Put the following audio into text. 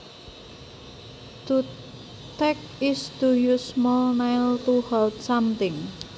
To tack is to use small nails to hold something